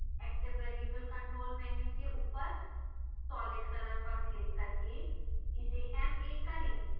active variable control menu के ऊपर solid color पर क्लिक करके इसे ma करें